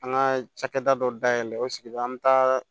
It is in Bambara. An ka cakɛda dɔ dayɛlɛ o sigida an bɛ taa